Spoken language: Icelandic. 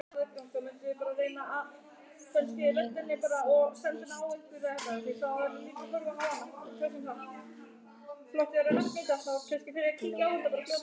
Magnús Hlynur Hreiðarsson: Þannig að þú vilt fleiri ilmvatnsglös?